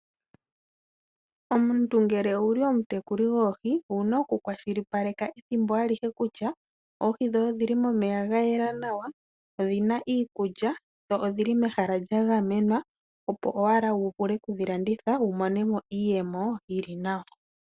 Omuntu ngele owuli omutekuli goohi owu oku kwashilipaleka ethimbo alihe kutya . Oohi dhoye odhili momeya ga yela nawa odhina iikulya . Dho odhili mehala lya gamenwa opo owala wu vule oku dhi landitha wu monemo iiyemo yili nawa.